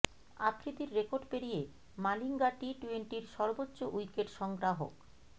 আফ্রিদির record পেরিয়ে Malinga T টোয়েন্টির সর্বোচ্চ উইকেট সংগ্রাহক